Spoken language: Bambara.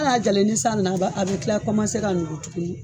Al'a jalen ni san nana, a bɛ tila ka nugu